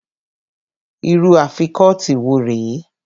Irú Afikọ́tí wo rè é?